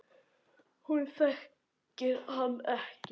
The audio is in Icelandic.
Hún þekkir hann ekki.